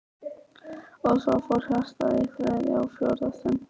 Og svo fór hjartað í þriðja og fjórða sinn.